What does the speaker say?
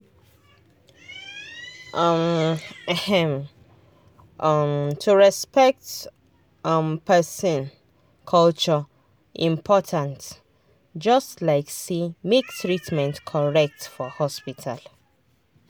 um ehm um to respect um person culture important just like say make treatment correct for hospital.